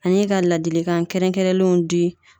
Ani ka ladilikan kɛrɛnkɛrɛnlenw di